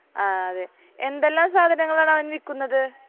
ആഹ് അതെ എന്തെല്ലാം സാധനങ്ങൾ ആണ് അവൻ വിൽക്കുന്നത്